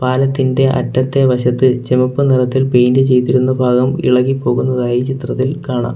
പാലത്തിന്റെ അറ്റത്തെ വശത്ത് ചെമപ്പു നിറത്തിൽ പെയിന്റ് ചെയ്തിരുന്ന ഭാഗം ഇളകി പോകുന്നതായി ചിത്രത്തിൽ കാണാം.